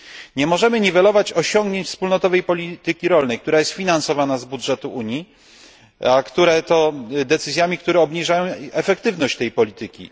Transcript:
Nie możemy niwelować osiągnięć wspólnej polityki rolnej, która jest finansowana z budżetu Unii, decyzjami, które obniżają efektywność tej polityki.